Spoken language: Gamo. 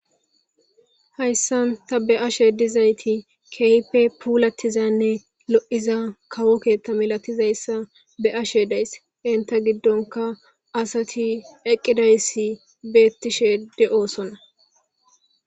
hayssan ta be ashe dizayti keype puulatizanne lo7iza kawokeetta milatizayssa be ashe deys inta giddonka asati eqqidayssi beettishe de7osonna